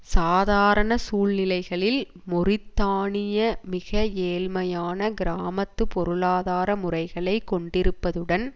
சாதாரண சூழ்நிலைகளில் மொரித்தானிய மிக ஏழ்மையான கிராமத்து பொருளாதார முறைகளை கொண்டிருப்பதுடன்